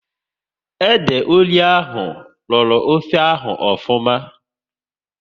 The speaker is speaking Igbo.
Ede ori ahụ rọrọ ofe ahụ ofuma